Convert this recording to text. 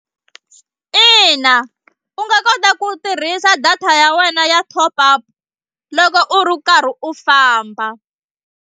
Ina u nga kota ku tirhisa data ya wena ya top up loko u karhi u famba.